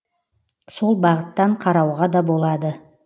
сол бағыттан қарауға да болады